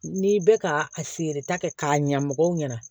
N'i bɛ ka a feereta kɛ k'a ɲa mɔgɔw ɲɛna